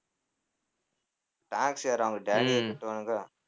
tax யாரு அவங்க daddy யா கட்டுவானுங்க.